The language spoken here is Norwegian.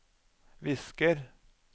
visker